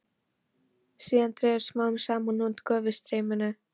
Síðan dregur smám saman úr gufustreyminu.